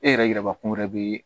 E yɛrɛ yiraba kun wɛrɛ be yen